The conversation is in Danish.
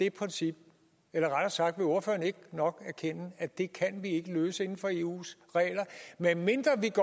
det princip eller rettere sagt vil ordføreren ikke nok erkende at det kan vi ikke løse inden for eus regler medmindre vi